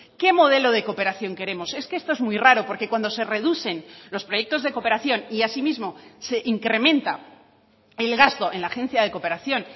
qué modelo de cooperación queremos es que esto es muy raro porque cuando se reducen los proyectos de cooperación y asimismo se incrementa el gasto en la agencia de cooperación